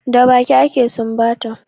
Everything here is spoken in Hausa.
Da baki ake sumbata